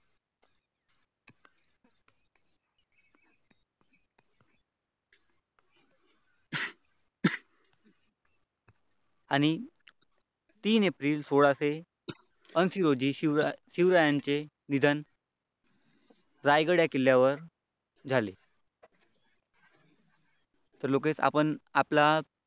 आणि तीन एप्रिल सोळाशे अंशी रोजी शिवरायांचे निधन रायगड या किल्ल्यावर झाले. तर लोकेश आपण आपला